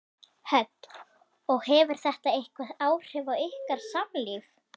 Hödd: Og hefur þetta eitthvað áhrif á ykkar samlíf?